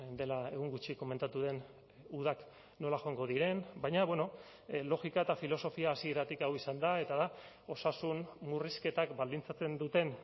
dela egun gutxi komentatu den udak nola joango diren baina logika eta filosofia hasieratik hau izan da eta da osasun murrizketak baldintzatzen duten